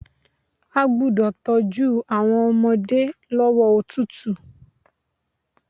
A gbúdọ̀ tọ́jú àwọn ọmọdé lọ́wọ́ òtútù.